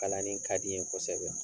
Kalanni ka di n ye kosɛbɛ